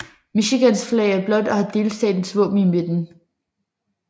Michigans flag er blåt og har delstatens våben i midten